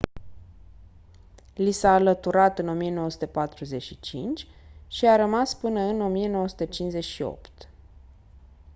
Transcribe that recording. li s-a alăturat în 1945 și a rămas până în 1958